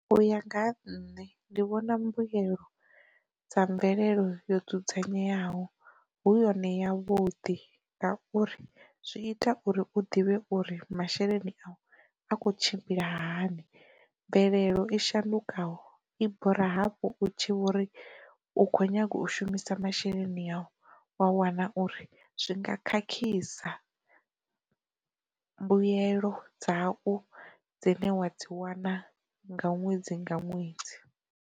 U ya nga ha nṋe ndi vhona mbuyelo dza mvelelo yo dzudzanyeaho hu yone ya vhuḓi ngauri zwi ita uri u ḓivhe uri masheleni a u a kho tshimbila hani, mvelelo i shandukaho i bora hafhu u tshi vhori u kho nyaga u shumisa masheleni au, wa wana uri zwi nga khakhisa mbuyelo dzau dzine wa dzi wana nga ṅwedzi nga ṅwedzi.